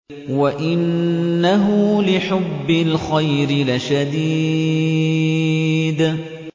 وَإِنَّهُ لِحُبِّ الْخَيْرِ لَشَدِيدٌ